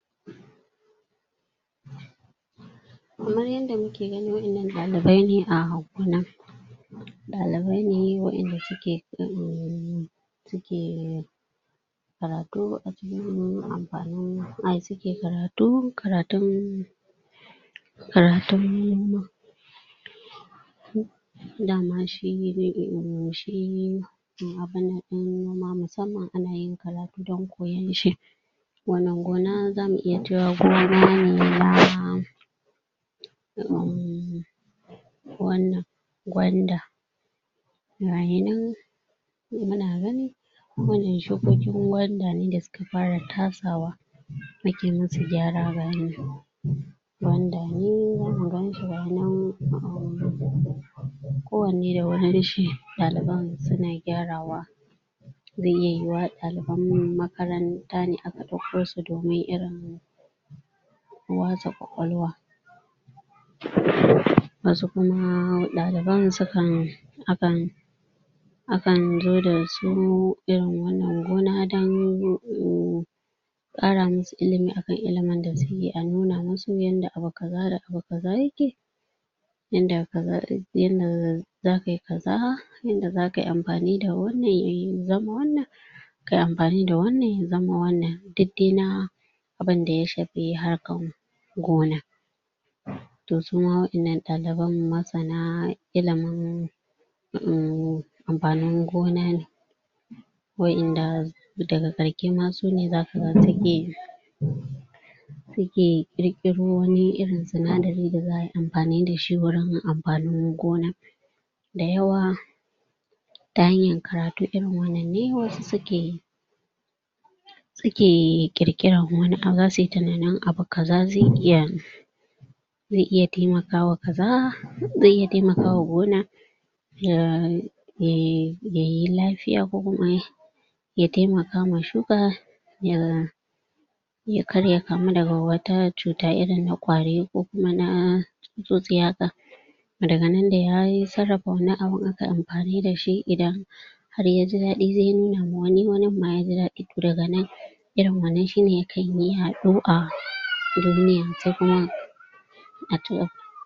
Kaman yadda muke gani wa'innan ɗalibai ne a gona ɗalibai ne waɗanda suke um suke karatun dama shi um shi abunnan ɗin musamman ana yin karatun don koyan shi wannan gona zamu iya cewa gona ne na um wannan gwanda gayinan muna gani wannan shukokin gwanda ne wanda suka fara tasawa ake musu gyara gayinan gwanda ne zamu ganshi gayinan um ko wanne da wurinshi ɗaliban suna gyarawa zai iya yiwuwa ɗaliban makaranta ne aka ɗauko su domin irin wasa ƙwaƙwalwa wasu kuma ɗaliban sukan akan akan zo da su irin wannan gona don um ƙara musu ilimi akan ilimin da suke a nuna musu yanda abu kaza da abu kaza yake yanda ka ga za kayi kaza yanda zaka yi amfani da wannan ya zama wannan kayi amfani da wannan ya zama wannan duk dai na abunda ya shafi harkan gona to suma waɗannan ɗaliban masana ilimin um amfanin gona ne wa'inda daga ƙarshe ma sune zaka ga suke suke ƙirƙiro wani irin sinadari da za ayi amfani da shi wurin amfanin gona dayawa ta hanyar karatu irin wannan ne wasu suke suke ƙirƙiran wani abu zasu yi tunanin abu kaza zai iya zai iya taimakawa kaza zai iya taimakawa gona ya taimakawa shuka ya kar ya kamu da wata cuta irin na ƙwari ko kuma na tsutsotsi haka daga nan dai har in an sarrafa wannan abun aka yi amfani da shi idan har ya ji daɗi zai nuna ma wani wanin ma ya ji daɗi to daga nan ririn wannan shine yakan yi yaɗo a duniya sai kuma